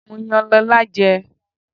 Mo yan Lọ́la jẹ.